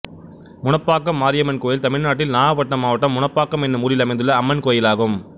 முனப்பாக்கம் மாரியம்மன் கோயில் தமிழ்நாட்டில் நாகபட்டினம் மாவட்டம் முனப்பாக்கம் என்னும் ஊரில் அமைந்துள்ள அம்மன் கோயிலாகும்